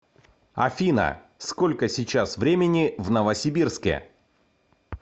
афина сколько сейчас времени в новосибирске